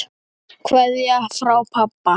Kveðja frá pabba.